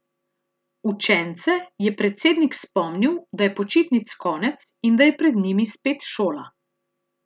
Učence je predsednik spomnil, da je počitnic konec in da je pred njimi spet šola.